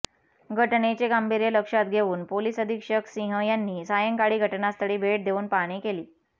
घटनेचे गांभीर्य लक्षात घेऊन पोलीस अधीक्षक सिंह यांनी सायंकाळी घटनास्थळी भेट देऊन पाहणी केली